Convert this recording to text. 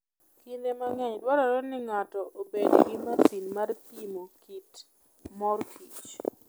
Kinde mang'eny dwarore ni ng'ato obed gi masin mar pimo kit mor kich.